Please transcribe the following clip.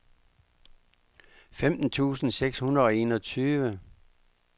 femten tusind seks hundrede og enogtyve